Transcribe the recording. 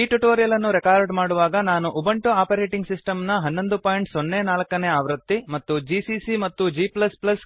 ಈ ಟ್ಯುಟೋರಿಯಲ್ ಅನ್ನು ರೆಕಾರ್ಡ್ ಮಾಡುವಾಗ ನಾನು ಉಬುಂಟು ಆಪರೇಟಿಂಗ್ ಸಿಸ್ಟಮ್ ನ 1104 ನೇ ಆವೃತ್ತಿ ಮತ್ತು ಜಿಸಿಸಿ ಮತ್ತು g